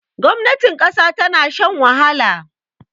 gwamnatin kasa ta shan wahala